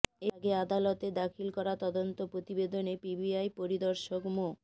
এর আগে আদালতে দাখিল করা তদন্ত প্রতিবেদনে পিবিআই পরিদর্শক মো